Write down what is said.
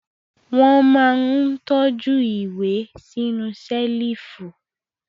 Wọ́n máa ń tọ́jú ìwé sínú ṣẹ́lífù.